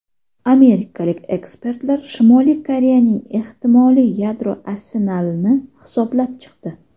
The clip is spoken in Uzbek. Amerikalik ekspertlar Shimoliy Koreyaning ehtimoliy yadro arsenalini hisoblab chiqdi.